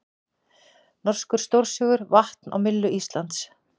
Norskur stórsigur vatn á myllu Íslands